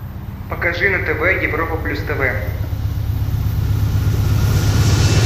покажи на тв европа плюс тв